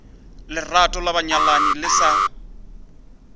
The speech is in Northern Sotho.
lerato la banyalani le sa